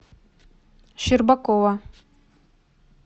щербакова